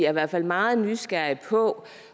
er derfor meget nysgerrige på